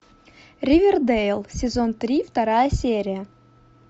ривердэйл сезон три вторая серия